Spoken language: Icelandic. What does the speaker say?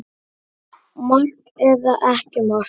Mark eða ekki mark?